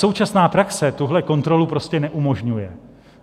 Současná praxe tuhle kontrolu prostě neumožňuje.